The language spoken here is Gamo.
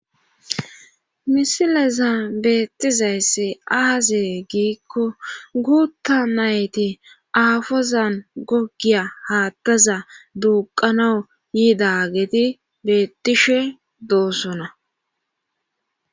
Msileza beettizayssi aazee giikko guutta nayti aafozan goggiya haattaza duuqanau yiidageti bettishe doossona